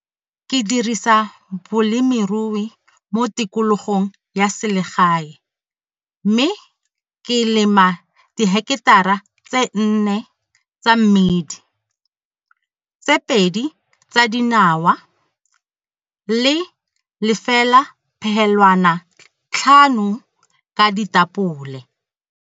Ke dirisa bolemirui mo tikologong ya selegae mme ke lema diheketara tse 4 tsa mmidi, tse 2 tsa dinawa le 0,5 ka ditapole.